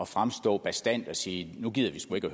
fremstå bastant og sige nu gider vi sgu ikke at